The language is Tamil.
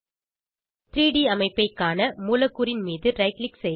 3ட் ல் அமைப்பை காண மூலக்கூறின் மீது ரைட் க்ளிக் செய்து